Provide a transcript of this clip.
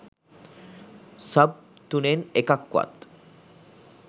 sub තුනෙන් එකක්වත්